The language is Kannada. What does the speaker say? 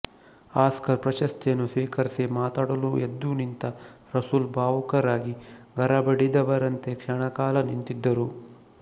ಆಸ್ಕರ್ ಪ್ರಶಸ್ತಿಯನ್ನು ಸ್ವೀಕರಿಸಿ ಮಾತಾಡಲು ಎದ್ದು ನಿಂತ ರಸೂಲ್ ಭಾವುಕರಾಗಿ ಗರಬಡಿದವರಂತೆ ಕ್ಷಣಕಾಲ ನಿಂತಿದ್ದರು